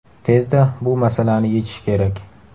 Tezda bu masalani yechish kerak.